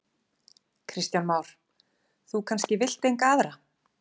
Kristján Már: Þú kannski vilt enga aðra?